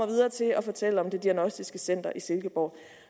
videre til at fortælle om det diagnostiske center i silkeborg